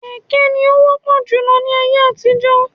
Kékè ní o wọ́pọ̀ júlọ ní ayé àtijó